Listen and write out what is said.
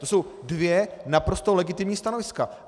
To jsou dvě naprosto legitimní stanoviska.